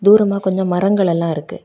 தூரமா கொஞ்சோ மரங்கள் எல்லா இருக்கு.